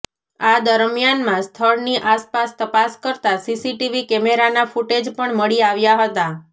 આ દરમિયાનમાં સ્થળની આસપાસ તપાસ કરતાં સીસીટીવી કેમેરાના ફૂટેજ પણ મળી આવ્યાં હતાં